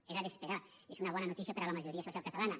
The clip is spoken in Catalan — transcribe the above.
era d’esperar i és una bona notícia per a la majoria social catalana